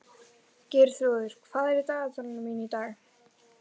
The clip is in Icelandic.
Geirþrúður, hvað er í dagatalinu mínu í dag?